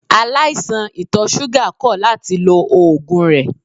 Aláìsàn ìtọ̀ ṣúgà kọ̀ láti lo oògùn rẹ̀.